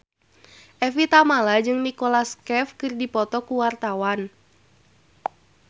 Evie Tamala jeung Nicholas Cafe keur dipoto ku wartawan